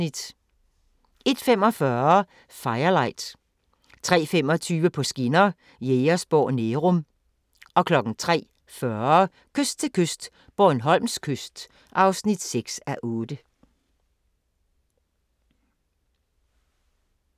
01:45: Firelight 03:25: På skinner: Jægersborg – Nærum 03:40: Kyst til kyst - Bornholms kyst (6:8)